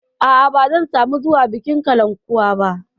A'a, ba zan samu zuwa bikin kalankuwa ba.